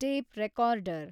tape recorder